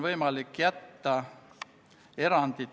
Menetluslikud otsused.